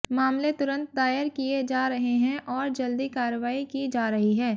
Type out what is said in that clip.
मामले तुंरत दायर किए जा रहे हैं और जल्दी कार्रवाई की जा रही है